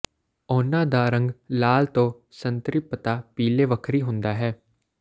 ਉਨ੍ਹਾਂ ਦਾ ਰੰਗ ਲਾਲ ਤੋਂ ਸੰਤ੍ਰਿਪਤਾ ਪੀਲੇ ਵੱਖਰੀ ਹੁੰਦਾ ਹੈ